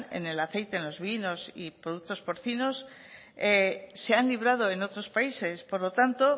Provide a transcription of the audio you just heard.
en el aceite en los vinos y productos porcinos se han librado en otros países por lo tanto